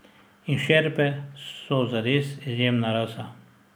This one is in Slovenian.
In šerpe so zares izjemna rasa.